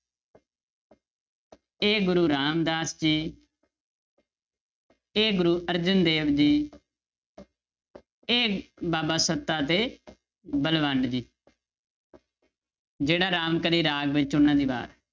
ਇਹ ਗੁਰੂ ਰਾਮਦਾਸ ਜੀ ਇਹ ਗੁਰੂ ਅਰਜਨ ਦੇਵ ਜੀ ਇਹ ਬਾਬਾ ਸੱਤਾ ਤੇ ਬਲਵੰਡ ਜੀ ਜਿਹੜਾ ਰਾਮਕਲੀ ਰਾਗ ਵਿੱਚ ਉਹਨਾਂ ਦੀ ਵਾਰ ਹੈ